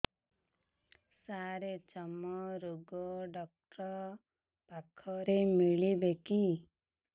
ସାର ଚର୍ମରୋଗ ଡକ୍ଟର ପାଖରେ ମିଳିବେ କି